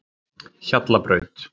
Hjallabraut